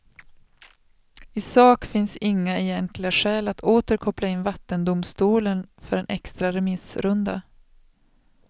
I sak finns inga egentliga skäl att åter koppla in vattendomstolen för en extra remissrunda.